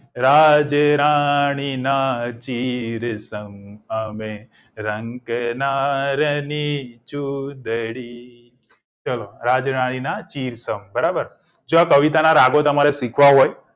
રાજ રાણીના ચીર સમ અમે રંકના રની ચુદડી ચલો રાજ રાણીના ચીર સમ બરાબર જો આ કવિતાના રાગો ને તમારે સીખવા હોય